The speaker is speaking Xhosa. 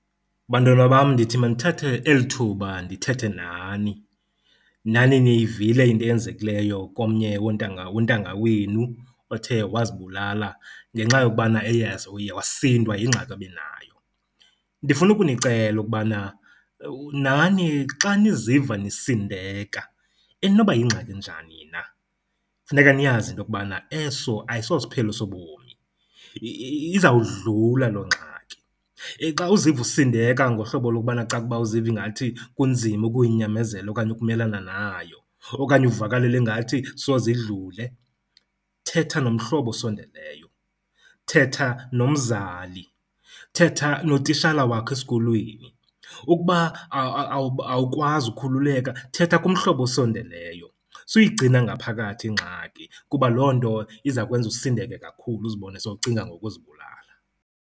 Bantwana bam, ndithi mandithathe eli thuba ndithethe nani. Nani niyivile into eyenzekileyo komnye wontanga wontanga wenu othe wazibulala ngenxa yokubana eye uye wasindwa yingxaki ebenayo. Ndifuna ukunicela ukubana nani xa niziva nisindeka, inoba yingxaki enjani na, funeka niyazi into yokubana eso ayisosiphelo sobomi, izawudlula loo ngxaki. Xa uziva usindeka ngohlobo lokubana caba uziva ingathi kunzima ukuyinyamezela okanye ukumelana nayo, okanye uvakalelwa ingathi soze idlule, thetha nomhlobo osendeleyo, thetha nomzali, thetha notitshala wakho esikolweni. Ukuba awukwazi ukhululeka, thetha kumhlobo osondeleyo. Suyigcina ngaphakathi ingxaki kuba loo nto iza kwenza usindeke kakhulu uzibone sowucinga ngokuzibulala.